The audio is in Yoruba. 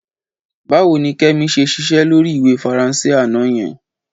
Báwo ni Kẹ́mi ṣe ṣiṣẹ́ lórí ìwé Faransé àná yẹn?